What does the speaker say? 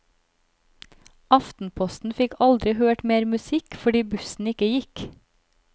Aftenposten fikk aldri hørt mer musikk fordi bussen ikke gikk.